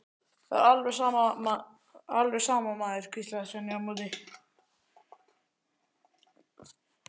Það er alveg sama, maður, hvíslaði Svenni á móti.